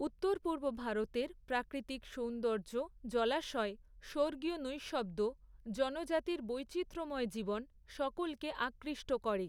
উত্তর পূর্ব ভারতের প্রাকৃতিক সৌন্দর্য্য, জলাশয়, স্বর্গীয় নৈঃশব্দ্য, জনজাতির বৈচিত্র্যময় জীবন, সকলকে আকৃষ্ট করে।